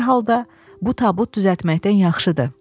Hər halda bu tabut düzəltməkdən yaxşıdır.